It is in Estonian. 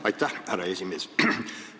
Aitäh, härra esimees!